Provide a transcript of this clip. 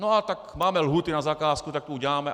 No, a tak máme lhůty na zakázku, tak to uděláme.